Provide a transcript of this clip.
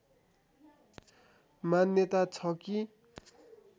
मान्यता छ कि